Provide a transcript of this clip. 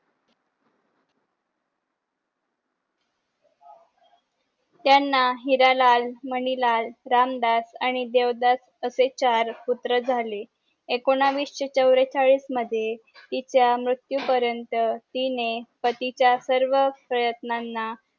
त्यांना हिरालाल मणिलाल रामदास आणि देवदास असे चार पुत्र झाले एकोणविशे चवरेचाळीस मध्ये तिच्या मृत्यू पर्यन्त तिने पतीच्या सर्व प्रयात्नांना